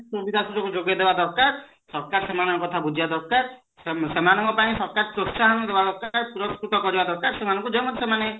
ସୁବିଧା ସୁଯୋଗୋ ଯୋଗେଇଦବା ଦରକାର ସରକାର ସେମାନଙ୍କ କଥା ବୁଝିବା ଦରକାର ସେମାନଙ୍କ ପାଇଁ ସରକାର ପ୍ରୋଶ୍ଚାହନ ଦବା ଦରକାର ପୁରସ୍କୁତ କରିବା ଦରକାର ଯୌଥିରେ ସେମାନେ